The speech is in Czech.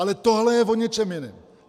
Ale tohle je o něčem jiném.